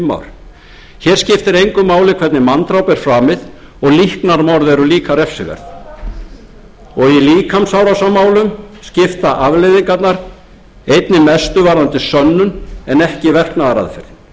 skiptir engu máli hvernig manndráp er framið og líknarmorð eru líka refsiverð og í líkamsárásarmálum skipta afleiðingarnar einnig mestu varðandi